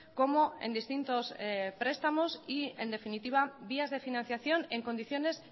como en distintos prestamos y en definitiva vías de financiación en condiciones